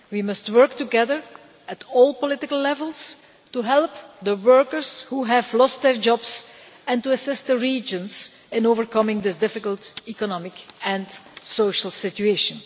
We must work together at all political levels to help the workers who have lost their jobs and to assist the regions in overcoming this difficult economic and social situation.